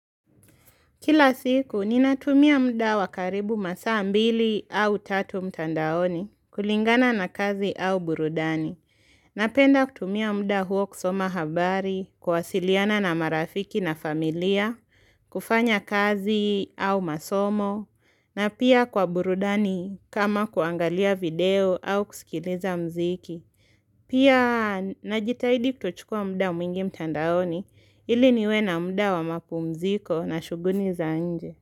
Kila siku, ninatumia muda wa karibu masaa mbili au tatu mtandaoni kulingana na kazi au burudani. Napenda kutumia muda huo kusoma habari, kwasiliana na marafiki na familia, kufanya kazi au masomo, na pia kwa burudani kama kuangalia video au kusikiliza muziki. Pia najitahidi kutochukua muda mwingi mtandaoni ili niwe na muda wa mapumziko na shughuli za nje.